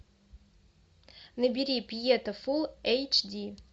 набери пьета фулл эйч ди